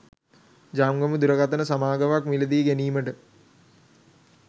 ජංගම දුරකථන සමාගමක් මිලදී ගැනීමට